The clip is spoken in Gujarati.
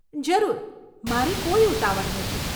જરૂર. મારે કોઈ ઉતાવળ નથી.